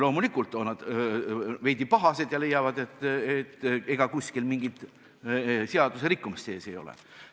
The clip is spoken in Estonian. Loomulikult on nad veidi pahased ja tahavad teada, ega kuskil mingit seaduserikkumist toimunud ei ole.